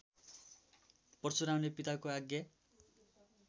परशुरामले पिताको आज्ञा